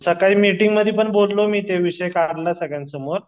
सकाळी मीटिंगमध्ये पण बोललो मी त्याविषयी काढला सगल्यान समोर